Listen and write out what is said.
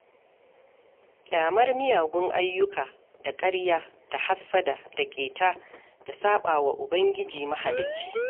Ƙyamar miyagun ayyuka da ƙarya da hassada da ƙeta da saɓa wa Ubangiji Mahalicci